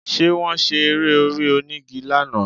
Ṣé Wọ́n ṣe eré orí onígi lánàá?